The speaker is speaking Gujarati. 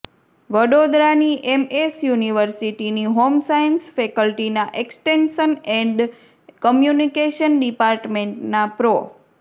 વડોદરાની એમ એસ યૂનિવર્સિટીની હોમ સાયંસ ફેકલ્ટીના એક્સટેનંશન એંડ કમ્યૂનિકેશન ડિપાર્ટમેંટના પ્રો